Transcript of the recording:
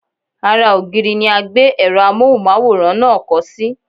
Ara ògiri ni a gbé èrò Amóhùnmáwòrán náà kọ́ sí.